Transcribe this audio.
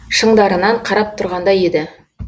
шыңдарынан қарап тұрғандай еді